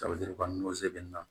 kɔni o se bɛ ne na